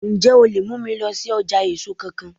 Ǹjẹ́ o lè mú mi lọ sí ọjà èso kan kan?